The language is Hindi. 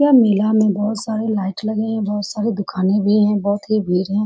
यह मेला में बहुत सारे लाइट लगे हैं बहुत सारे दुकाने भी हैं बहुत ही भीड़ हैं ।